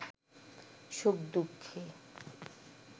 সুখ-দুঃখে